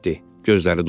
Gözləri doldu.